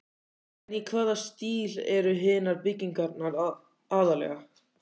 En í hvaða stíl eru hinar byggingarnar aðallega?